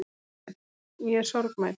Ég er sorgmædd.